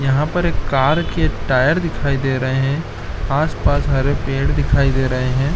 यहाँ पर एक कार के टायर दिखाई दे रहा है आस-पास हरे पेड़ दिखाई दे रहै हैं।